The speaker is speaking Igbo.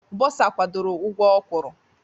Bọsa kwadoro ụgwọ o kwuru.